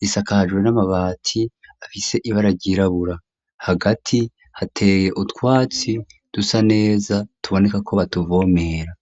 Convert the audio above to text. risakaje n'amabati afise ibara ryirabura hagati hateye utwatsi dusa neza tuboneka ko batuvomera.